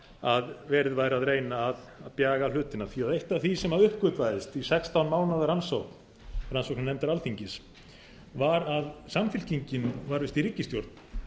að verið væri að reyna að bjaga hlutina því að eitt af því sem uppgötvaðist í sextán mánaða rannsókn rannsóknarnefndar alþingis var að samfylkingin var uppi í ríkisstjórn